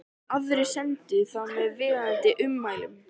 Aðrir sendu það með viðeigandi ummælum.